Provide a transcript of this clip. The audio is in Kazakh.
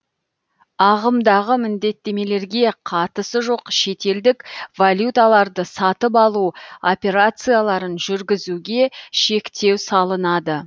ағымдағы міндеттемелерге қатысы жоқ шетелдік валюталарды сатып алу операцияларын жүргізуге шектеу салынады